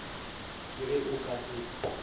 ke ge o ka se